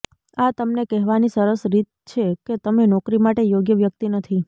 આ તમને કહેવાની સરસ રીત છે કે તમે નોકરી માટે યોગ્ય વ્યક્તિ નથી